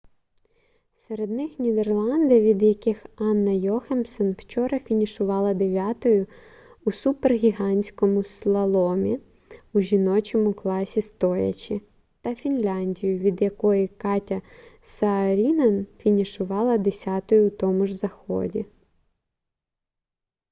серед них нідерланди від яких анна йохемсен вчора фінішувала дев'ятою у супергігантському слаломі у жіночому класі стоячи та фінляндію від якої катя саарінен фінішувала десятою у тому ж заході